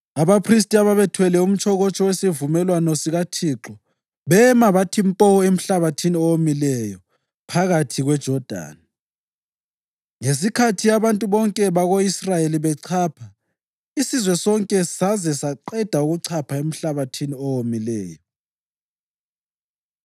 Abaphristi ababethwele umtshokotsho wesivumelwano sikaThixo bema bathi mpo emhlabathini owomileyo phakathi kweJodani, ngesikhathi abantu bonke bako-Israyeli bechapha isizwe sonke saze saqeda ukuchapha emhlabathini owomileyo.